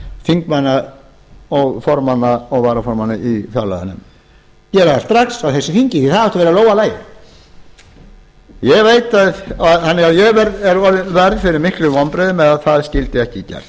þingmanna og formanna og varaformanna í fjárlaganefnd gera það strax á þessu þingi það átti að vera í lófa lagið ég varð fyrir miklum vonbrigðum með að það skyldi þá ekki gert